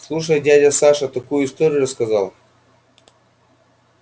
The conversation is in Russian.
слушай дядя саша такую историю рассказал